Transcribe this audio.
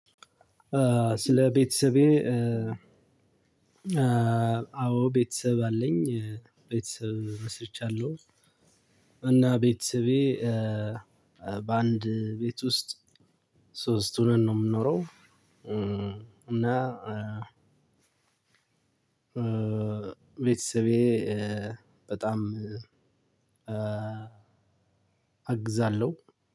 ስለ ቤተሰቤ አዎ ቤተሰብ አለኝ ቤተሰብ መስርቻለሁ። እና ቤተሰቤ በአንድ ቤት ውስጥ ሶስት ሆነን ነው የምንኖረው። እና ቤተሰቤ በጣም አግዛለሁ።